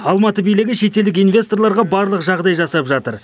алматы билігі шетелдік инвесторларға барлық жағдай жасап жатыр